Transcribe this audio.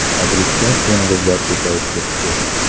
Madridda to‘ng‘izlar ko‘payib ketdi.